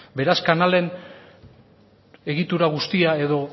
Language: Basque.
beraz kanalen egitura guztia edo